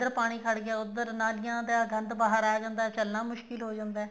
ਫੇਰ ਪਾਣੀ ਖੜ ਗਿਆ ਉੱਧਰ ਨਾਲੀਆਂ ਦਾ ਗੰਦ ਬਾਹਰ ਆ ਜਾਂਦਾ ਚਲਨਾ ਮੁਸ਼ਕਿਲ ਹੋ ਜਾਂਦਾ